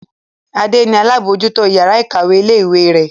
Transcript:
Adé ni alábòójútó ìyàrá-ìkàwé ilé-ìwé rẹ̀.